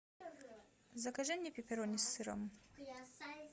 закажи мне пепперони с сыром